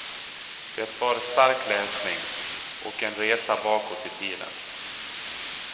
Det var stark läsning, och en resa bakåt i tiden.